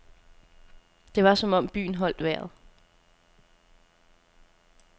Det var som om byen holdt vejret.